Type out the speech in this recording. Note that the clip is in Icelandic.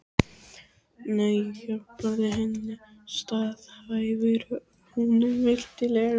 Nei, ég hjálpaði henni, staðhæfir hún mildilega.